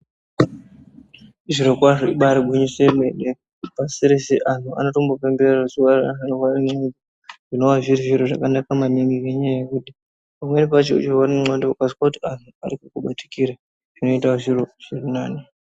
Zvirokwazvo, ibari gwinyiso yemene, pasi rese anhu anotombopembera zuwa reanhu anorwara nendxondo, zvinowa zviri zviro zvakanaka maningi, ngenyaya yekuti Pamweni pacho uchirwara nendxondo ukazwe kuti vanhu vari kukubatikira, Zvinoita zviro zviri nani.